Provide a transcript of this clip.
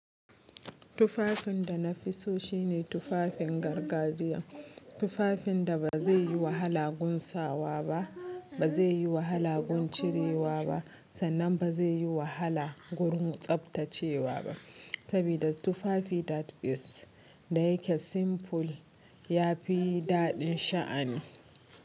Tufafin da na fi so shine tufafin gargajiya. Tufafin da ba zai yi wahala gun sawa ba, ba zai yi wahala gun cirewa ba sannan ba zai yi wahala gun tsaftacewa ba. Sabida tufafi da is, da yake simple ya fi daɗin sha'ani.